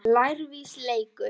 Úrhelli um tíma.